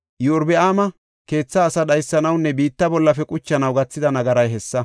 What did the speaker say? Iyorbaama keetha asaa dhaysanawunne biitta bollafe quchanaw gathida nagaray hessa.